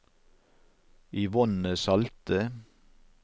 Yvonne Salte